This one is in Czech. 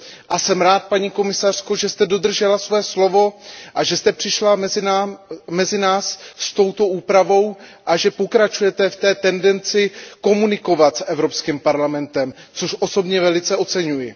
A jsem rád, paní komisařko, že jste dodržela slovo a že jste přišla mezi nás s touto úpravou a že pokračujete v té tendenci komunikovat s Evropským parlamentem, což osobně velice oceňuji.